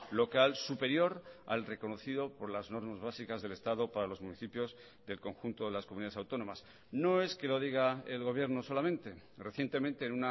local superior al reconocido por las normas básicas del estado para los municipios del conjunto de las comunidades autónomas no es que lo diga el gobierno solamente recientemente en